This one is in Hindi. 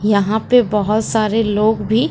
यहां पे बहुत सारे लोग भी--